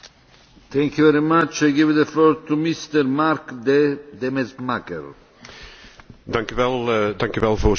Voorzitter, ik wil op mijn beurt van de gelegenheid gebruik maken om het Litouwse voorzitterschap van harte te bedanken en te feliciteren.